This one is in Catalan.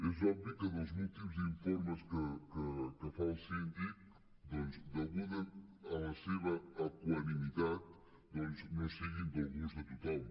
és obvi que dels últims informes que fa el síndic deguda la seva equanimitat doncs no siguin del gust de tothom